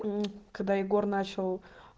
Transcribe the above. мм когда егор начал